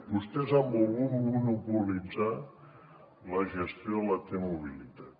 vostès han volgut monopolitzar la gestió de la t mobilitat